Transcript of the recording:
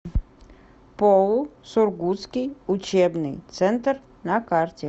поу сургутский учебный центр на карте